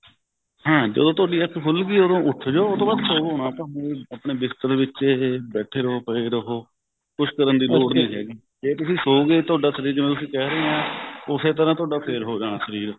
ਹਮ ਜਦੋਂ ਤੁਹਾਡੀ ਅੱਖ ਖੁੱਲ ਗਈ ਉਦੋਂ ਉੱਠ ਜੋ ਉਸ ਤੋਂ ਬਾਅਦ ਸੋਵੋ ਨਾ ਬਹ੍ਵੇਂ ਆਪਨੇ ਬਿਸਤਰੇ ਵਿੱਚ ਹੀ ਬੈਠੇ ਰਹੋ ਪਏ ਰਹੋ ਕੁੱਛ ਕਰਨ ਦੀ ਲੋੜ ਨਹੀਂ ਹੈਗੀ ਜੇ ਤੁਸੀਂ ਸੋ ਗਏ ਤੁਹਾਡਾ ਸ਼ਰੀਰ ਜਿਵੇਂ ਤੁਸੀਂ ਕਹਿ ਰਹੇ ਹੋ use ਤਰ੍ਹਾਂ ਤੁਹਾਡਾ ਫੇਰ ਹੋ ਜਾਣਾ ਸਰੀਰ